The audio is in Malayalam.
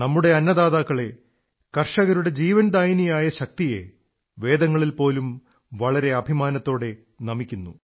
നമ്മുടെ അന്നദാതാക്കളെ കർഷകരുടെ ജീവൻദായിനിയായ ശക്തിയെ വേദങ്ങളിൽ പോലും വളരെ അഭിമാനത്തോടെ നമിക്കപ്പെട്ടിരിക്കുന്നു